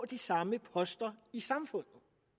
de samme poster i samfundet